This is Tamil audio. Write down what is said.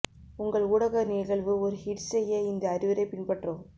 உங்கள் ஊடக நிகழ்வு ஒரு ஹிட் செய்ய இந்த அறிவுரை பின்பற்றவும்